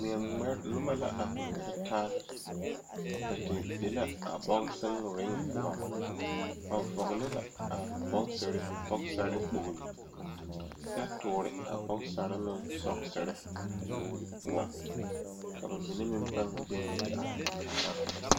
Dɔɔ ne pɔge la ka Sakubiiri a are kaa dɔɔ su kpare buluu a teɛ o nu Kyaara sakubie kpankpane a Sakubiiri mine lerɛ ba nuure poɔ ka bamine meŋ paa gyan yi te are.